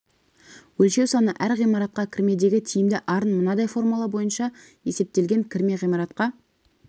өлшеу саны әр ғимаратқа кірмедегі тиімді арын мынадай формула бойынша есептелген кірме ғимаратқа